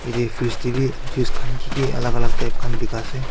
yatae fridge taebi juice khan kiki alak alak type khan bika ase.